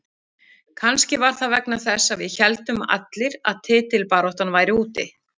Kannski var það vegna þess að við héldum allir að titilbaráttan væri úti.